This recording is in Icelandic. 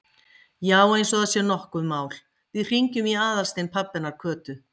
Já, eins og það sé nokkuð mál, við hringjum í Aðalstein pabba hennar Kötu.